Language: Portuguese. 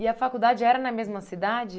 E a faculdade era na mesma cidade?